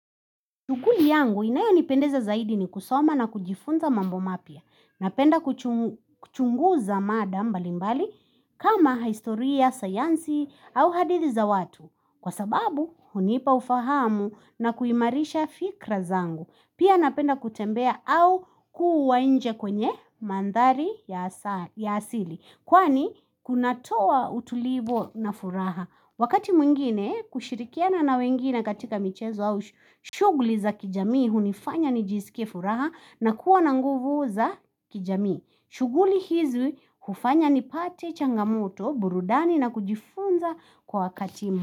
Tukuli yangu inayonipendeza zaidi ni kusoma na kujifunza mambo mapya. Napenda kuchunguza mada mbalimbali kama historia, sayansi au hadithi za watu. Kwa sababu, hunipa ufahamu na kuimarisha fikra zangu. Pia napenda kutembea au kuwa nje kwenye manthari ya asili. Kwani, kunatoa utulivu na furaha. Wakati mwingine kushirikiana na wengine katika michezo au shughuli za kijamii hunifanya nijisikie furaha na kuwa na nguvu za kijamii. Shughuli hizi hufanya nipate changamoto, burudani na kujifunza kwa wakati.